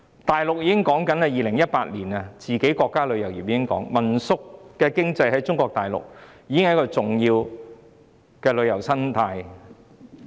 大陸在2018年已經說民宿經濟是中國大陸國家旅遊業的重要生態。